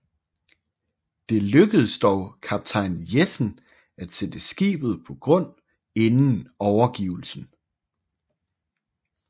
Det lykkedes dog kaptajn Jessen at sætte skibet på grund inden overgivelsen